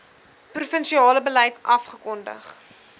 provinsiale beleid afgekondig